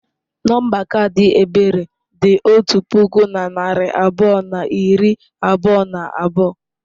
Nọmba kaadị Ebere dị otu puku na narị abụọ na iri abụọ na abụọ.